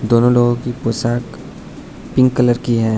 दोनों लोगों की पोशाक पिंक कलर की है।